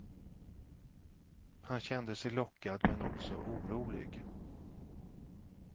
Han kände sig lockad, men också orolig.